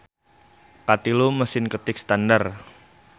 Katilu Mesin ketik standar.